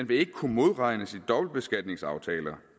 vil kunne modregnes i dobbeltbeskatningsaftaler